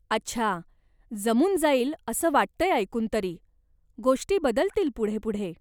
अच्छा, जमून जाईल असं वाटतंय ऐकून तरी, गोष्टी बदलतील पुढे पुढे.